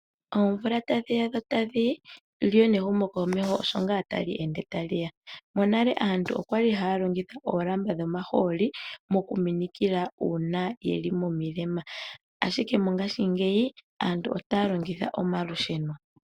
Oomvula tadhiya dho tadhi yi lyo nehumo komeho osho ngaa tali ende tali ya. Monale aantu okwali haya longitha oolamba dhomahooli mokuminikila uuna yeli momilema ashike mongashiingeyi aantu otaya longitha omalusheno.